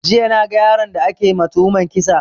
Jiya na ga yaron da ake ma tuhuman kisa